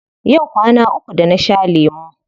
Yau kwana uku da na sha lemu.